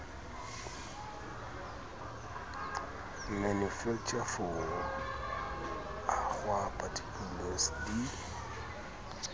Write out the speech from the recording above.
manufacturer for agoa particulars di